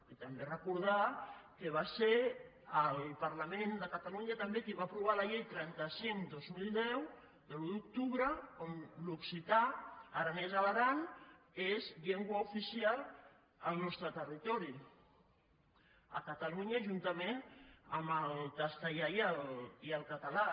i també recordar que va ser el parlament de catalunya també qui va aprovar la llei trenta cinc dos mil deu de l’un d’octubre on l’occità aranès a l’aran és llengua oficial al nostre territori a catalunya juntament amb el castellà i el català